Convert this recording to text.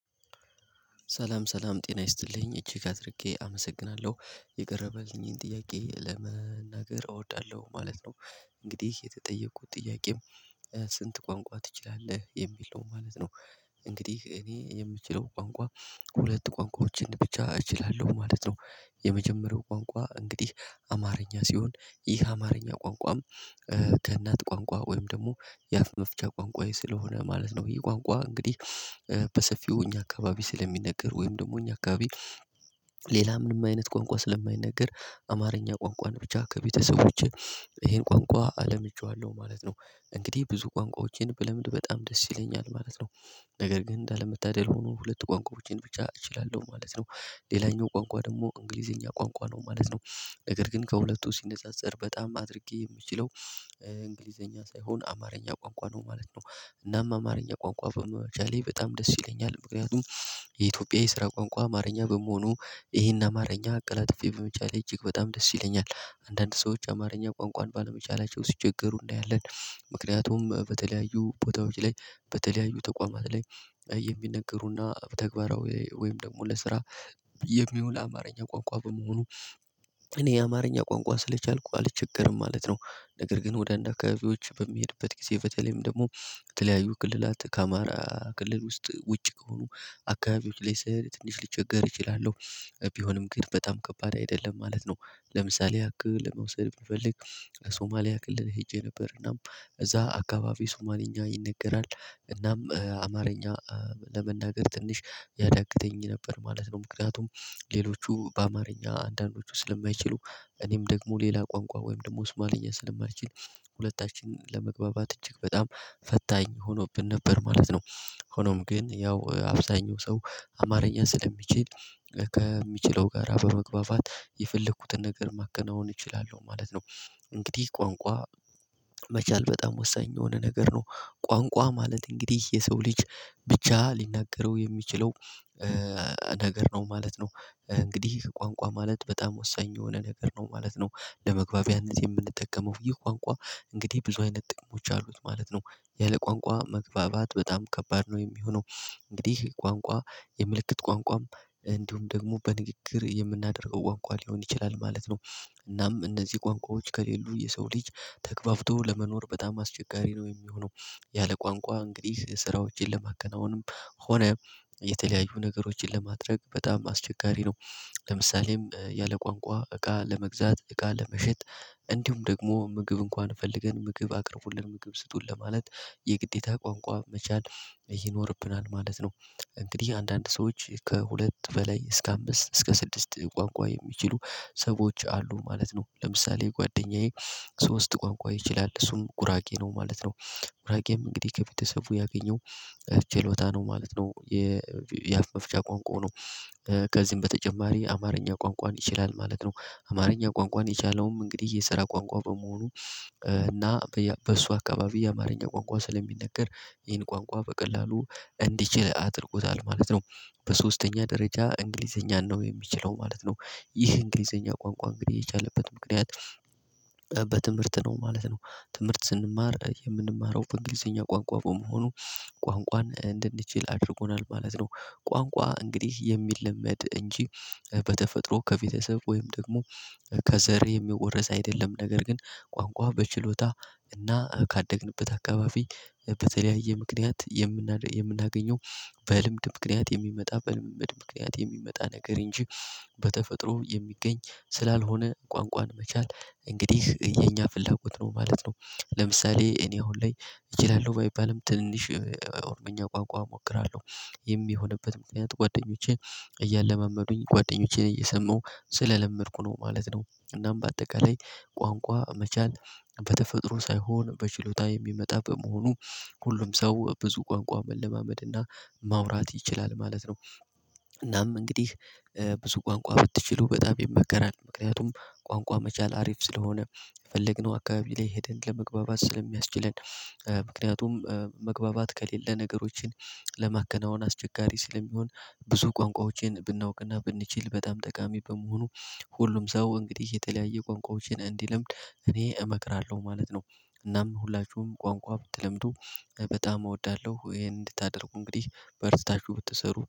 ሰላም ሰላም ጤና ይስጥልኝ እጅግ አድርጌ አመሰግናለሁ የቀረበልኝን ጥያቄ ለመናገር እወዳለሁ ማለት ነው። እንግዲህ የተጠየቅኩት ጥያቄም ስንት ቋንቋ ትችላለህ የሚል ነው ማለት ነው። እንግዲህ እኔ የምችለው ቋንቋ ሁለት ቋንቋዎችን ብቻ እችላለሁ ማለት ነው። የመጀመሪያው ቋንቋ እንግዲህ አማርኛ ሲሆን ይህ አማርኛ ቋንቋም። ከእናት ቋንቋ ወይም ደግሞ የአፍ መፍቻ ቋንቋዬ ስለሆነ ማለት ነው የቋንቋ እንግዲህ በሰፊው እኛ አካባቢ ስለሚነገር ወይም ደግሞ እኛ አካባቢ። ሌላ ምንም አይነት ቋንቋ ስለማይነገር አማርኛ ቋንቋን ብቻ ከቤተሰቦቼ ይሄን ቋንቋ ለምጄዋለሁ ማለት ነው። እንግዲህ ብዙ ቋንቋዎችን ብለምድ በጣም ደስ ይለኛል ማለት ነው። ነገር ግን እንዳለመታደል ሆኖ ሁለት ቋንቋዎችን ብቻ እችላለሁ ማለት ነው። ሌላኛው ቋንቋ ደግሞ እንግሊዘኛ ቋንቋ ነው ማለት ነው። ነገር ግን ከሁለቱ ሲነጻጸር በጣም አድርጌ የምችለው እንግሊዘኛ ሳይሆን አማርኛ ቋንቋ ነው ማለት ነው። እናም አማርኛ ቋንቋ በመቻሌ በጣም ደስ ይለኛል ምክንያቱም የኢትዮጵያ የስራ ቋንቋ አማርኛ በመሆኑ ይሄን አማርኛ አቀላጥፌ በመቻሌ እጅግ በጣም ደስ ይለኛል አንዳንድ ሰዎች አማርኛ ቋንቋን ባለመቻላቸው ሲቸገሩ እናያለን። ምክንያቱም በተለያዩ ቦታዎች ላይ በተለያዩ ተቋማት ላይ የሚነገሩና ተግባራዊ ወይም ደግሞ ለስራ የሚውል አማርኛ ቋንቋ በመሆኑ። እኔ የአማርኛ ቋንቋ ስለቻልኩ አልቸገርም ማለት ነው። ነገር ግን ወደ አንድ አካባቢዎች በሚሄድበት ጊዜ በተለይም ደግሞ በተለያዩ ክልላት ከአማራ ክልል ውስጥ ውጪ ከሆኑ አካባቢዎች ላይ ስሄድ ትንሽ ልቸገር እችላለሁ። ቢሆንም ግን በጣም ከባድ አይደለም ማለት ነው። ለምሳሌ ያክል ለመውሰድ ብንፈልግ ሶማሊያ ክልል ሄጄ ነበር እናም እዛ አካባቢ ሶማሊኛ ይነገራል። እናም አማርኛ ለመናገር ትንሽ ያዳግተኝ ነበር ማለት ነው። ምክንያቱም ሌሎቹ በአማርኛ አንዳንዶቹ ስለማይችሉ እኔም ደግሞ ሌላ ቋንቋ ወይም ደግሞ ሱማሊኛ ስለማልችል ሁለታችን ለመግባባት እጅግ በጣም ፈታኝ ሆኖብን ነበር ማለት ነው። ሆኖም ግን ያው አብዛኛው ሰው አማርኛ ስለሚችል ከሚችለው ጋር በመግባባት የፈለግኩትን ነገር ማከናወን እችላለሁ ማለት ነው። እንግዲህ ቋንቋ መቻል በጣም ወሳኝ የሆነ ነገር ነው። ቋንቋ ማለት እንግዲህ የሰው ልጅ ብቻ ሊናገረው የሚችለው ነገር ነው ማለት ነው። እንግዲህ ቋንቋ ማለት በጣም ወሳኝ የሆነ ነገር ነው ማለት ነው። ለመግባቢያነት የምንጠቀመው ይህ ቋንቋ እንግዲህ ብዙ አይነት ጥቅሞች አሉት ማለት ነው። ያለ ቋንቋ መግባባት በጣም ከባድ ነው የሚሆነው። እንግዲህ ይሄ ቋንቋ የምልክት ቋንቋም እንዲሁም ደግሞ በንግግር የምናደርገው ቋንቋ ሊሆን ይችላል ማለት ነው። እናም እነዚህ ቋንቋዎች ከሌሉ የሰው ልጅ ተግባብቶ ለመኖር በጣም አስቸጋሪ ነው የሚሆነው። ያለ ቋንቋ እንግዲህ ስራዎችን ለማከናወንም ሆነ የተለያዩ ነገሮችን ለማድረግ በጣም አስቸጋሪ ነው። ለምሳሌም ያለ ቋንቋ እቃ ለመግዛት እቃ ለመሸጥ እንዲሁም ደግሞ ምግብ እንኳን ፈልገን ምግብ አቅርቡልን ምግብ ስጡን ለማለት የግዴታ ቋንቋ መቻል ይኖርብናል ማለት ነው። እንግዲህ አንዳንድ ሰዎች ከሁለት በላይ እስከ አምስት እስከ ስድስት ቋንቋ የሚችሉ ሰዎች አሉ ማለት ነው ለምሳሌ ጓደኛዬ ሶስት ቋንቋ ይችላል እሱም ጉራጌ ነው ማለት ነው። ጉራጌም እንግዲህ ከቤተሰቡ ያገኘው ችሎታ ነው ማለት ነው። የአፍ መፍቻ ቋንቋው ነው። ከዚህም በተጨማሪ አማርኛ ቋንቋን ይችላል ማለት ነው። አማርኛ ቋንቋን የቻለውም እንግዲህ የስራ ቋንቋ በመሆኑ እና በእሱ አካባቢ የአማርኛ ቋንቋ ስለሚነገር ይህን ቋንቋ በቀላሉ እንዲችል አድርጎታል ማለት ነው። በሶስተኛ ደረጃ እንግሊዘኛን ነው የሚችለው ማለት ነው። ይህ እንግሊዘኛ ቋንቋ እንግዲህ የቻለበት ምክንያት በትምህርት ነው ማለት ነው። ትምህርት ስንማር የምንማረው በእንግሊዘኛ ቋንቋ በመሆኑ ቋንቋን እንድንችል አድርጎናል ማለት ነው። ቋንቋ እንግዲህ የሚለመድ እንጂ በተፈጥሮ ከቤተሰብ ወይም ደግሞ ከዘር የሚወረስ አይደለም። ነገር ግን ቋንቋ በችሎታ እና ካደግንበት አካባቢ በተለያየ ምክንያት የምናገኘው በልምድ ምክንያት የሚመጣ በልምምድ ምክንያት የሚመጣ ነገር እንጂ በተፈጥሮ የሚገኝ ስላልሆነ ቋንቋን መቻል እንግዲህ የኛ ፍላጎት ነው ማለት ነው። ለምሳሌ እኔ አሁን ላይ እችላለሁ ባይባልም ትንሽ ኦሮምኛ ቋንቋ እሞክራለሁ። ይህም የሆነበት ምክንያት ጓደኞቼ እያለመመዱኝ ጓደኞቼን እየሰማሁ ስለለመድኩ ነው ማለት ነው። እናም በአጠቃላይ ቋንቋ መቻል በተፈጥሮ ሳይሆን በችሎታ የሚመጣ በመሆኑ ሁሉም ሰው ብዙ ቋንቋ መለማመድና ማውራት ይችላል ማለት ነው። እናም እንግዲህ ብዙ ቋንቋ ብትችሉ በጣም ይመከራል ምክንያቱም ቋንቋ መቻል አሪፍ ስለሆነ የፈለግነው አካባቢ ላይ ሄደን ለመግባባት ስለሚያስችለን ምክንያቱም መግባባት ከሌለ ነገሮችን ለማከናወን አስቸጋሪ ስለሚሆን ብዙ ቋንቋዎችን ብናውቅና ብንችል በጣም ጠቃሚ በመሆኑ ሁሉም ሰው እንግዲህ የተለያየ ቋንቋዎችን እንዲለምድ እኔ እመክራለሁ ማለት ነው። እናም ሁላችሁም ቋንቋ ብትለምዱ በጣም እወዳለሁ ይሄን እንድታደርጉ እንግዲህ በርታችሁ ብትሰሩ